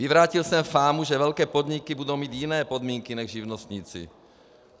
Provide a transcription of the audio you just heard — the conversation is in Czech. Vyvrátil jsem fámu, že velké podniky budou mít jiné podmínky než živnostníci.